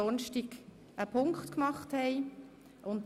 4. Rechtsstellung der Eingewiesenen